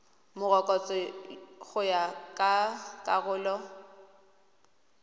morokotso go ya ka karolo